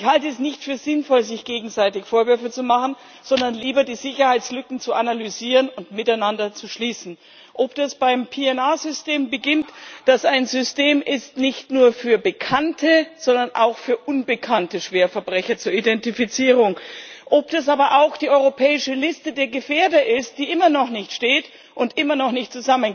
Ich halte es nicht für sinnvoll, sich gegenseitig Vorwürfe zu machen, sondern mir wer es lieber, die Sicherheitslücken zu analysieren und miteinander zu schließen. Ob das beim PNR System beginnt, das ein System zur Identifizierung nicht nur für bekannte, sondern auch für unbekannte Schwerverbrecher ist, ob das aber auch die europäische Liste der Gefährder ist, die immer noch nicht steht und immer noch nicht